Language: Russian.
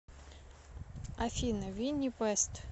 афина винни вест